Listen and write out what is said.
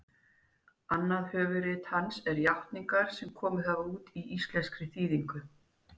annað höfuðrit hans er játningar sem komið hefur út í íslenskri þýðingu